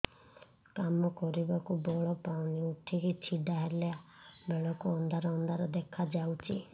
କାମ କରିବାକୁ ବଳ ପାଉନି ଉଠିକି ଛିଡା ହେଲା ବେଳକୁ ଅନ୍ଧାର ଅନ୍ଧାର ଦେଖା ଯାଉଛି